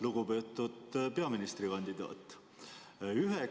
Lugupeetud peaministrikandidaat!